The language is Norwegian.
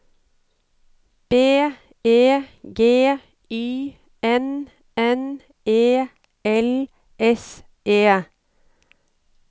B E G Y N N E L S E